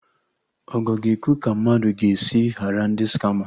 Ogo ga-ekwu ka mmadụ ga-esi ghara ndị skama